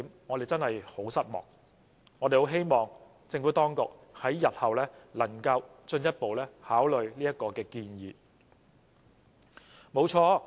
我們希望政府當局日後能進一步考慮這項建議。